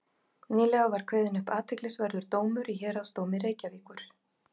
nýlega var kveðinn upp athyglisverður dómur í héraðsdómi reykjavíkur